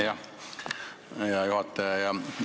Hea juhataja!